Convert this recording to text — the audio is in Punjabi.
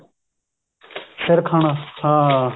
ਸਿਰ ਖਾਣਾ ਹਾਂ